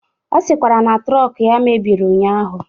Ọ sịkwara na trọk ya mebiri ụnyaahụ.